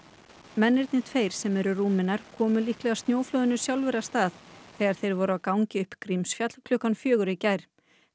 mennirnir tveir sem eru Rúmenar komu líklega snjóflóðinu sjálfir af stað þegar þeir voru á gangi upp Grímsfjall klukkan fjögur í gær